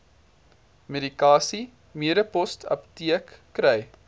medikasie medipostapteek kry